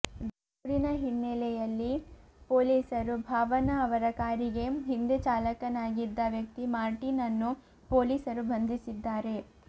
ದೂರಿನ ಹಿನ್ನೆಲೆಯಲ್ಲಿ ಪೊಲೀಸರು ಭಾವನಾ ಅವರ ಕಾರಿಗೆ ಹಿಂದೆ ಚಾಲಕನಾಗಿದ್ದ ವ್ಯಕ್ತಿ ಮಾರ್ಟಿನ್ ಅನ್ನು ಪೊಲೀಸರು ಬಂಧಿಸಿದ್ದಾರೆ